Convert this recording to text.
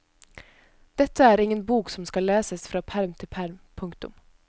Dette er ingen bok som skal leses fra perm til perm. punktum